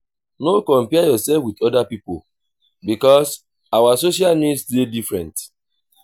no compare yourself with oda pipo because our social needs dey different